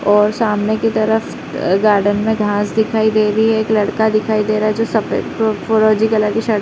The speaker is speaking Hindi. और सामने की तरफ़ गार्डन में घास दिखाई दे रही है। एक लड़का दिखाई दे रहा है जो सफेद अ फरोज़ी कलर की शर्ट --